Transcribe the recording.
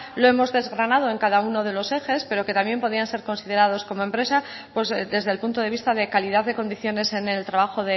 lo hemos desgranado en cada uno de los ejes pero que también podrían ser considerados como empresa pues desde el punto de vista de calidad de condiciones en el trabajo